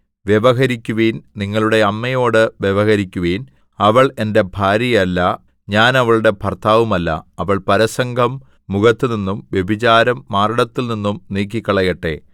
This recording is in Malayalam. വ്യവഹരിക്കുവിൻ നിങ്ങളുടെ അമ്മയോട് വ്യവഹരിക്കുവിൻ അവൾ എന്റെ ഭാര്യയല്ല ഞാൻ അവളുടെ ഭർത്താവുമല്ല അവൾ പരസംഗം മുഖത്തുനിന്നും വ്യഭിചാരം മാറിടത്തിൽ നിന്നും നീക്കിക്കളയട്ടെ